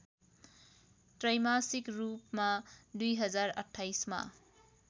त्रैमासिक रूपमा २०२८मा